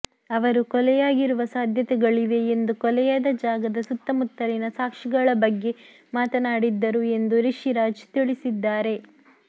ಅವರು ಕೊಲೆಯಾಗಿರುವ ಸಾಧ್ಯತೆಗಳಿವೆ ಎಂದು ಕೊಲೆಯಾದ ಜಾಗದ ಸುತ್ತಮುತ್ತಲಿನ ಸಾಕ್ಷಿಗಳ ಬಗ್ಗೆ ಮಾತನಾಡಿದ್ದರು ಎಂದು ರಿಷಿರಾಜ್ ತಿಳಿಸಿದ್ದಾರೆ